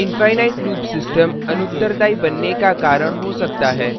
infinite loop system अनुत्तरदायी बनने का कारण हो सकता है